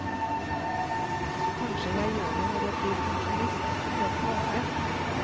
Kanskje jeg gjør det når jeg blir pensjonist og skal se tilbake.